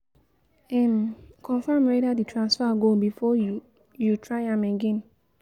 um Confirm whether di transfer go before you you try am again